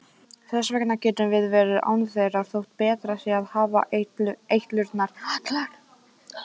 Þess vegna getum við verið án þeirra þótt betra sé að hafa eitlurnar allar.